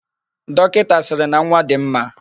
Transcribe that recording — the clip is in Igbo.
Dọkịta sịrị na nwa dị mma.,